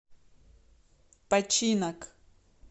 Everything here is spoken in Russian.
починок